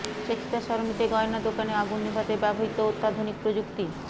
Shakespeare সরণিতে গয়নার দোকানে আগুন নেভাতে ব্যবহৃত অত্যাধুনিক প্রযুক্তি